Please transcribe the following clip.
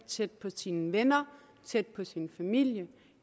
tæt på sine venner tæt på sin familie